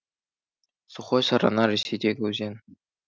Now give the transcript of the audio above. сухой сарана ресейдегі өзен